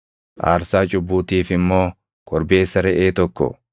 aarsaa cubbuutiif immoo korbeessa reʼee tokko,